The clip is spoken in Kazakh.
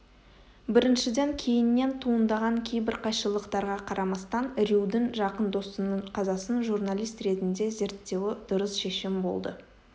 біріншіден кейіннен туындаған кейбір қайшылықтарға қарамастан рьюдің жақын досының қазасын журналист ретінде зерттеуі дұрыс шешім болды